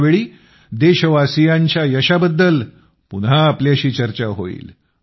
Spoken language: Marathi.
पुढील वेळेला देशावासियांच्या अनेक यशांबद्दल पुन्हा आपल्याशी चर्चा होईल